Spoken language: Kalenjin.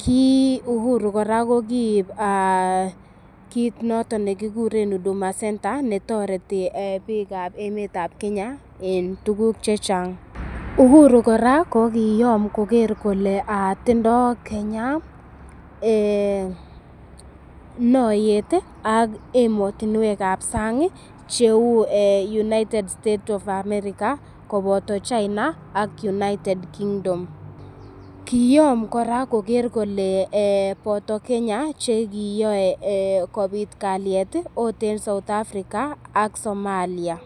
kii Uhuru kora kokib kit noton ne kiguren Huduma Centre ne toreti biikab emet ab Kenya en tuguk che chang. Uhuru kora kogiyom koger kole tindo Kenya noyet ak emotinwek ab sang cheu United States of America koboto China ak United Kingdom. Kiyom kora koger kole boto Kenya che kiyoe kobit kalyet ot en South Africa ak Somalia.